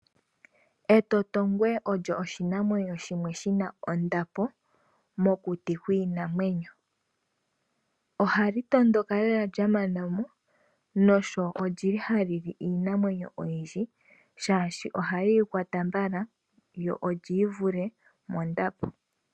Etotongwe olyo oshinamwenyo shimwe shina ondapo. Ohali tondoka lela lya mana mo na oha li li onyama yiinamwenyo iikwa wo oshoka oha li yi kwata mbala na olyi yi vule mondapo.